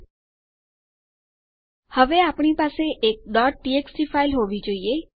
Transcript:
ઠીક છે તેથી હવે આપણી પાસે એક txt ફાઈલ હોવી જોઇએ